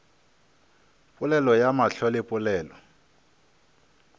polelo ya mahlo le polelo